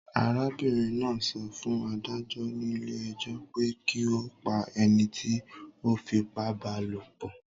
Arábìrin náà so fún adájó nílé ejó pe ki o pa enití o fipá ba lòpò